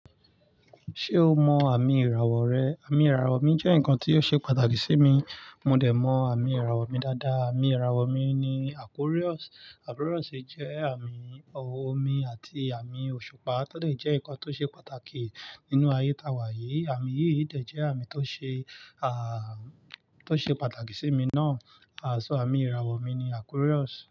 Ṣé o mọ àmì ìràwọ̀ rẹ? Àmì ìràwọ̀ mi jẹ́ nǹkan tó ṣe pàtàkì sí mi. Mo dẹ̀ mọ àmì ìràwọ̀ mi dáadáa. Àmì ìràwọ̀ mi ni Aquarius. Aquarius jẹ́ àmì omi àti àmì òṣùpá, tó dà jẹ́ ǹkan tó ṣe pàtàkì nínú ayé ta wà yìí. Àmì yìí dẹ̀ jẹ́ àmì tó ṣe, à, tó ṣe pàtàkì sí mi náà. Aṣọ àmì ìràwọ̀ mi ni Aquarius.